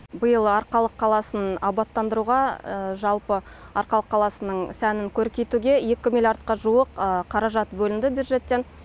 биыл арқалық қаласын абаттандыруға жалпы арқалық қаласының сәнін көркейтуге екі миллиардқа жуық қаражат бөлінді бюджеттен